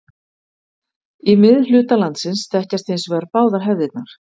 Í miðhluta landsins þekkjast hins vegar báðar hefðirnar.